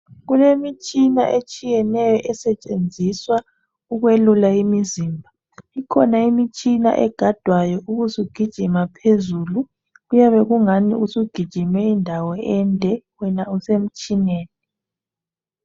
Kulemitshina etshiyeneyo esetshenziswa ukwelula imizimba ikhona imitshina egadwayo ubusugijima phezulu kuyabe kungani usugijime indawo ende wena usemtshineni.